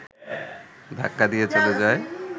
ধাক্কা দিয়ে চলে যায়